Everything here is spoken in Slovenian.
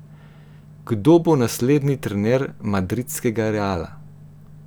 Kdo bo naslednji trener madridskega Reala?